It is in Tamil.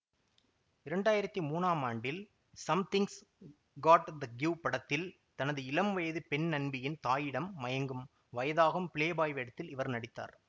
இரண்டாயிரத்தி மூனாம் ஆண்டில் சம்திங்ஸ் காட்ட த கிவ் படத்தில் தனது இளம்வயது பெண்நண்பியின் தாயிடம் மயங்கும் வயதாகும் பிளேபாய் வேடத்தில் இவர் நடித்தார்